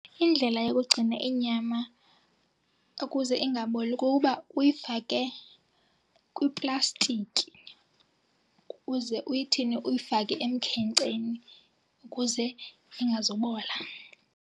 Indlela yokugcina inyama ukuze ingaboli kukuba uyifake kwiplastiki ukuze uyithini uyifake emkhenkceni ukuze ingazubola.